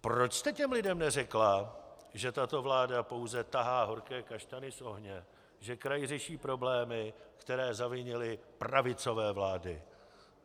Proč jste těm lidem neřekla, že tato vláda pouze tahá horké kaštany z ohně, že kraj řeší problémy, které zavinily pravicové vlády?